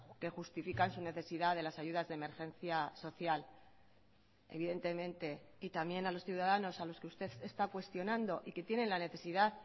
que justifican su necesidad de las ayudas de emergencia social evidentemente y también a los ciudadanos a los que usted está cuestionando y que tienen la necesidad